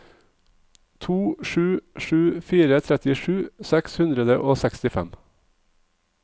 to sju sju fire trettisju seks hundre og sekstifem